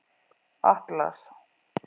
Atlas